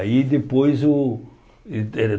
Aí depois o... eh eh